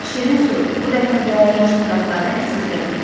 Şirin su, bu dəfə də yaş budaqları əsirgəmə.